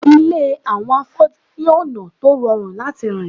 Ilé àwọn afọ́jú ní ọ̀nà tó rọrùn láti rìn